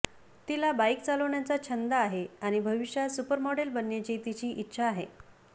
तिला बाईक चालविण्याचा छंद आहे आणि भविष्यात सुपरमॉडेल बनण्याची तिची इच्छा आहे